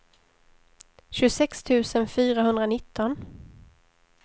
tjugosex tusen fyrahundranitton